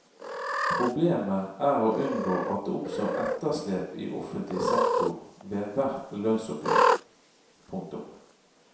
Problemet er å unngå at det oppstår etterslep i offentlig sektor ved hvert lønnsoppgjør. punktum